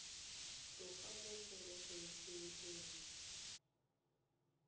tloga mo porofenseng e nngwe